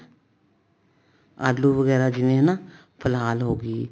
ਆਲੂ ਵਗੈਰਾ ਜਿਵੇਂ ਹਨਾ ਫਲਾਲ ਹੋਗੀ